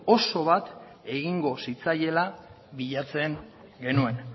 oso bat egingo zitzaiela bilatzen genuen